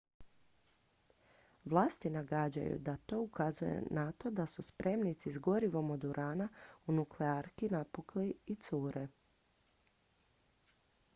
vlasti nagađaju da to ukazuje na to da su spremnici s gorivom od urana u nuklearki napukli i cure